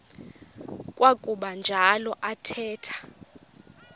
kwakuba njalo athetha